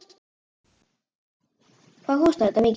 Hvað kostar þetta mikið?